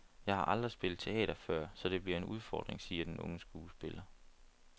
Jeg har aldrig spillet teater før, så det bliver en udfordring, siger den unge skuespiller.